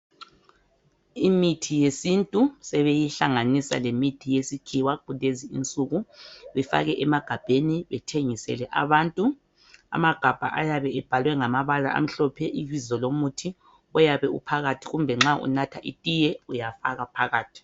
Imithinyesintu sebeyihlanisa lemithi yesikhiwa kulezi insuku befake emagabheni bethengisele abantu amagabha ayabe ebhalwe ngamabala amhophe ibizo lomuthi oyabe uphakathi kumbe nxa unatha itiye uyafaka phakathi